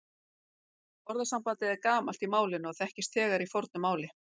Orðasambandið er gamalt í málinu og þekkist þegar í fornu máli.